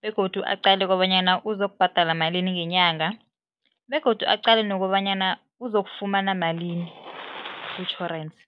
begodu aqale kobanyana uzokubhadela malini ngenyanga begodu aqale nokobanyana uzokufumana malini kutjhorensi.